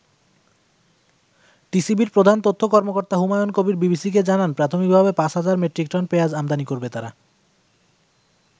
টিসিবির প্রধান তথ্য কর্মকর্তা হুমায়ন কবির বিবিসিকে জানান, প্রাথমিক ভাবে ৫০০০ মেট্রিক টন পেয়াজ আমদানি করবে তারা।